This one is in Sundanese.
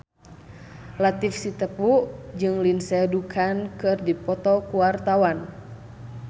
Latief Sitepu jeung Lindsay Ducan keur dipoto ku wartawan